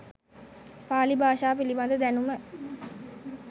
පාලි භාෂාව පිළිබඳ දැනුම